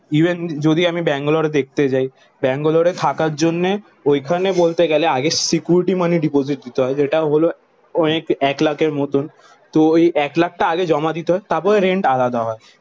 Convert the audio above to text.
Even যদি আমি ব্যাঙ্গালোরে দেখতে যাই, ব্যাঙ্গালোরে থাকার জন্যে ওইখানে বলতে গেলে আগে সিকিউরিটি মানি ডিপোজিট দিতে হয় যেটা হলো অনেক এক লাখের মতন। তো ওই এক লাখ টা আগে জমা দিতে হয়। তারপর রেন্ট আলাদা হয়।